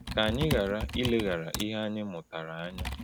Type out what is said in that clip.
Ka anyị ghara ileghara ihe anyị mụtara anya!